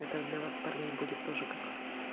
это для вас парней будет тоже как